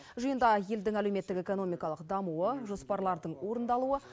жиында елдің әлеуметтік экономикалық дамуы жоспарлардың орындалуы